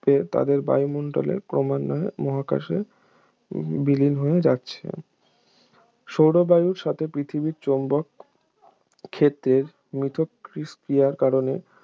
ও তাদের বায়ুমণ্ডল ক্রমান্বয়ে মহাকাশে বিলীন হয়ে যাচ্ছে সৌরবায়ুর সাথে পৃথিবীর চৌম্বক ক্ষেত্রের মিথস্ক্রিয়ার কারণে